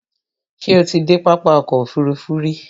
Ṣé o ti dé pápá ọkò òfurufú rí?